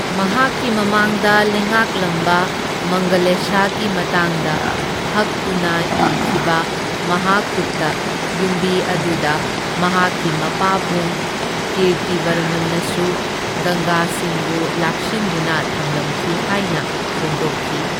ꯃꯍꯥꯛꯀꯤ ꯃꯃꯥꯡꯗ ꯂꯩꯉꯥꯛꯂꯝꯕ ꯃꯪꯒꯂꯦꯁꯥꯒꯤ ꯃꯇꯥꯡꯗ ꯍꯛꯇꯨꯅ ꯏꯈꯤꯕ ꯃꯍꯥꯀꯨꯇ ꯌꯨꯝꯕꯤ ꯑꯗꯨꯗ ꯃꯍꯥꯛꯀꯤ ꯃꯄꯥꯕꯨꯡ ꯀꯤꯔꯇꯤꯕꯔꯃꯟꯅꯁꯨ ꯒꯪꯒꯥꯁꯤꯡꯕꯨ ꯂꯥꯛꯁꯤꯟꯗꯨꯅ ꯊꯝꯂꯝꯈꯤ ꯍꯥꯏꯅ ꯐꯣꯡꯗꯣꯛꯈꯤ꯫